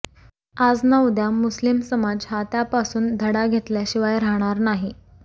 आज ना उद्या मुस्लीम समाज हा त्यापासून धडा घेतल्याशिवाय राहणार नाही